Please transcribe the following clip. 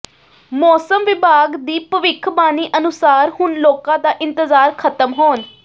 ਮੌਸਮ ਵਿਭਾਗ ਦੀ ਭਵਿੱਖਬਾਣੀ ਅਨੁਸਾਰ ਹੁਣ ਲੋਕਾਂ ਦਾ ਇੰਤਜ਼ਾਰ ਖਤਮ ਹੋਣ